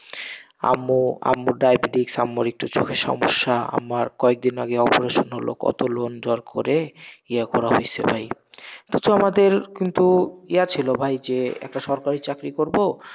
আম্মু, আম্মু ডায়াবেটিস আম্মুর একটু চোখের সমস্যা, আম্মার কয়েকদিন আগেই oparation হলো, কত loan দর করে, ইয়া করা হইসে ভাই তো আমাদের কিন্তু ইয়া ছিল ভাই যে একটা সরকারি চাকরি করবো,